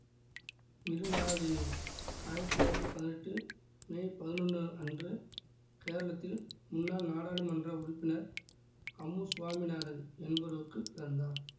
மிருணாளினி ஆயிரத்தி தொள்ளாயிரத்தி பதினெட்டு மே பதினொன்னு அன்று கேரளத்தில் முன்னாள் நாடாளுமன்ற உறுப்பினர் அம்மு சுவாமிநாதன் என்பவருக்குப் பிறந்தார்